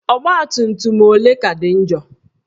Ọgbatumtum ole ka dị njọ?